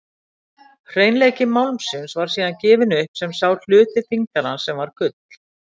Hreinleiki málmsins var síðan gefinn upp sem sá hluti þyngdar hans sem var gull.